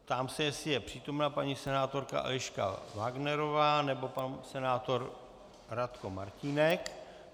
Ptám se, jestli je přítomna paní senátorka Eliška Wagnerová nebo pan senátor Radko Martínek.